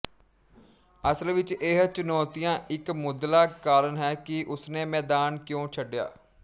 ਅਸਲ ਵਿੱਚ ਇਹ ਚੁਣੌਤੀਆਂ ਇੱਕ ਮੁੱਢਲਾ ਕਾਰਨ ਹੈ ਕਿ ਉਸਨੇ ਮੈਦਾਨ ਕਿਉਂ ਛੱਡਿਆ